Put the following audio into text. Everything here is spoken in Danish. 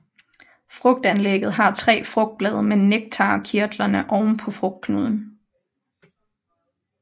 Frugtanlægget har tre frugtblade med nektarkirtlerne oven på frugtknuden